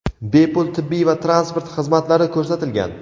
bepul tibbiy va transport xizmatlari ko‘rsatilgan.